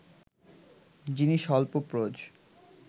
যিনি স্বল্পপ্রজ